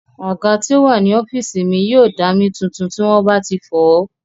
Àga tí ó wà ní ọ́físì mi yóò dá mí tuntun tí wọ́n bá ti fọ̀ọ́